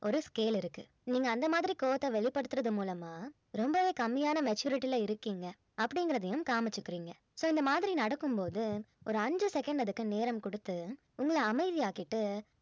ஒரு scale இருக்கு நீங்க அந்த மாதிரி கோபத்தை வெளிப்படுத்துறது மூலமா ரொம்பவே கம்மியான maturity ல இருக்கீங்க அப்படிங்கிறதையும் காமிச்சிக்குறீங்க so இந்த மாதிரி நடக்கும் போது ஒரு அஞ்சு second அதுக்கு நேரம் கொடுத்து உங்கள் அமைதியாக்கிட்டு